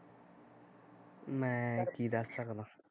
ਮੈਂ ਕੀ ਦੱਸ ਸਕਦਾ